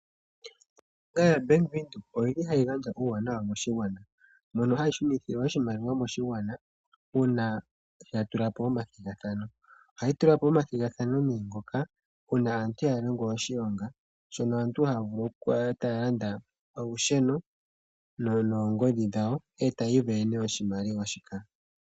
Ombaanga yaBank Windhoek ohayi gandja uuwanawa moshigwana. Ohayi shunitha oshimaliwa moshigwana uuna ya tula po omathigathano. Ohayi tula po omathigathano ngoka uuna aantu ya ninga oshilonga mono aantu haya vulu okulanda olusheno noongodhi e taya isindanene oshmaliwa shika.